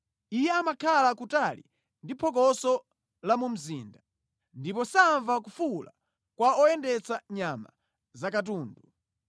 Iye amakhala kutali ndi phokoso la mu mzinda; ndipo samva kufuwula kwa oyendetsa nyama zakatundu.